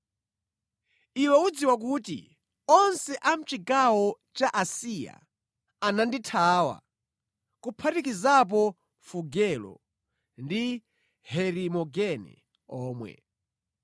Iwe udziwa kuti onse a mʼchigawo cha Asiya anandithawa, kuphatikizapo Fugelo ndi Herimogene omwe.